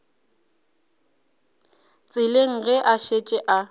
tseleng ge a šetše a